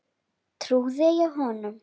Trúði ég honum?